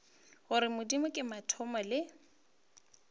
gore modimo ke mathomo le